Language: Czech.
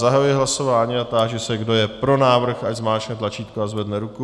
Zahajuji hlasování a táži se, kdo je pro návrh, ať zmáčkne tlačítko a zvedne ruku.